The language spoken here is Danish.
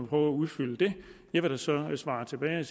prøve at udfylde det jeg vil så svare tilbage